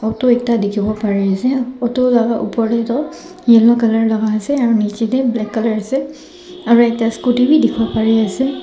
photo ekta dikhiwo ppariase utu la opor tae toh yellow laka ase aro nichae tae black colour ase aro ekta scooty bi dikhiwo parease.